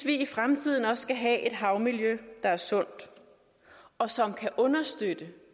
i fremtiden også skal have et havmiljø der er sundt og som kan understøtte